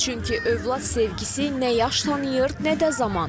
Çünki övlad sevgisi nə yaş tanıyır, nə də zaman.